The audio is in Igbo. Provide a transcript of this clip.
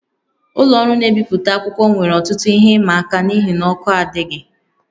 Ụlọ ọrụ na-ebipụta akwụkwọ nwere ọtụtụ ihe ịma aka n'ihi na ọkụ adịghị